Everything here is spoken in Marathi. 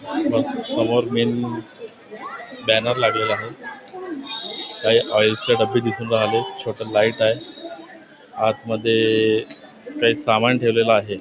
समोर मैन बॅनर लागलेला आहे काही ऑइल्स चे डब्बे दिसून राहिले छोट लाइट य आतमध्ये काही सामान ठेवलेल आहे.